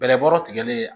Bɛlɛbɔ tigɛli